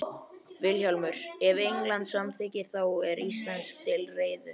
VILHJÁLMUR: Ef England samþykkir, þá er Þýskaland til reiðu.